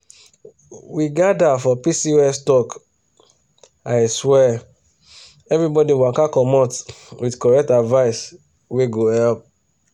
we gather for pcos talk aswear everybody waka commot with correct advice wey go help.